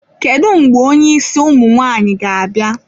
Kedu mgbe onye isi ụmụ nwaanyị ga-abịa?